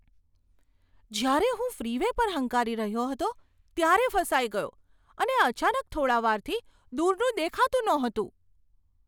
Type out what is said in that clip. જ્યારે હું ફ્રીવે પર હંકારી રહ્યો હતો ત્યારે ફસાઈ ગયો અને અચાનક થોડાં વારથી દૂરનું દેખાતું નહોતું.